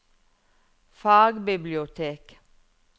fagbibliotek